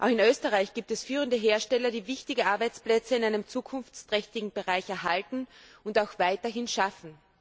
Auch in Österreich gibt es führende Hersteller, die wichtige Arbeitsplätze in einem zukunftsträchtigen Bereich erhalten und auch weiterhin schaffen.